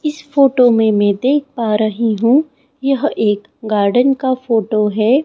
इस फोटो में मैं देख पा रही हूं यह एक गार्डन का फोटो है।